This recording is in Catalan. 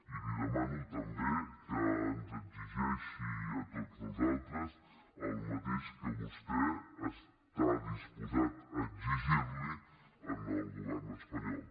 i li demano també que ens exigeixi a tots nosaltres el mateix que vostè està disposat a exigir li al govern espanyol